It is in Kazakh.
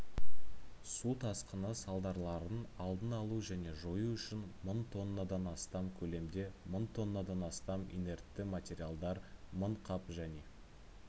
су тасқыны салдарларын алдын алу және жою үшін мың тонна дан астам көлемде мың тоннадан астам инертті материалдар мың қап және